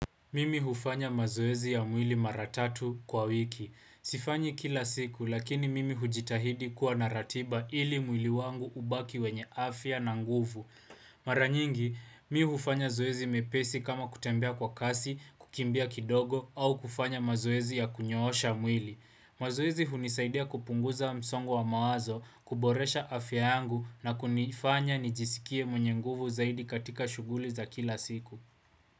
Mimi hufanya mazoezi ya mwili mara tatu kwa wiki. Sifanyi kila siku, lakini mimi hujitahidi kuwa na ratiba ili mwili wangu ubaki wenye afya na nguvu. Mara nyingi, mi hufanya zoezi mepesi kama kutembea kwa kasi, kukimbia kidogo, au kufanya mazoezi ya kunyoosha mwili. Mazoezi hunisaidia kupunguza msongo wa mawazo, kuboresha afya yangu na kunifanya nijisikie mwenye nguvu zaidi katika shughuli za kila siku.